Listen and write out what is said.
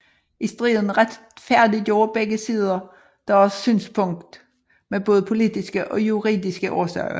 I striden retfærdiggjorde begge sider deres synspunkt med både politiske og juridiske årsager